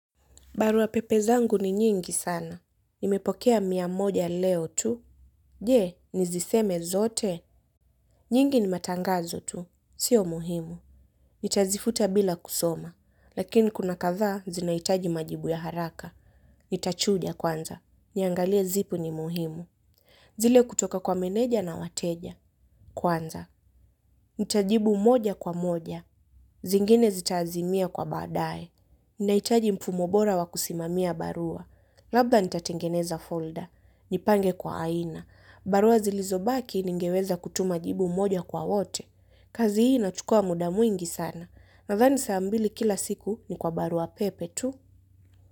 Barua pepe zangu ni nyingi sana. Nimepokea mia moja leo tu. Je, niziseme zote. Nyingi ni matangazo tu. Sio muhimu. Nita zifuta bila kusoma. Lakini kuna kadhaa zinahitaji majibu ya haraka. Nita chuja kwanza. Niangalia zipi ni muhimu. Zile kutoka kwa meneja na wateja. Kwanza. Nitajibu moja kwa moja. Zingine zita azimia kwa badaye. Nina hitaji mfumo bora wa kusimamia barua. Labda nitatengeneza folda. Nipange kwa aina. Barua zilizobaki ningeweza kutuma jibu moja kwa wote. Kazi hii natukua muda mwingi sana. Nadhani saa mbili kila siku ni kwa barua pepe tu.